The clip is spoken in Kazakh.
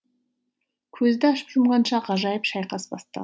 көзді ашып жұмғанша ғажайып шайқас